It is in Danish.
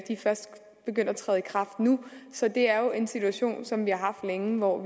de er først begyndt at træde i kraft nu så det er jo en situation som vi har haft længe og